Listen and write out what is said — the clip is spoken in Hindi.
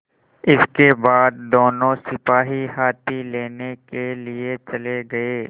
इसके बाद दोनों सिपाही हाथी लेने के लिए चले गए